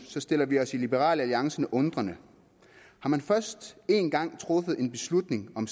så stiller vi os i liberal alliance undrende har man først en gang truffet en beslutning om